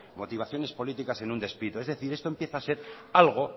motivaciones políticas en un despido es decir esto empieza a ser algo